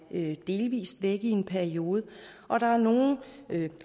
er delvis væk i en periode og der er nogle der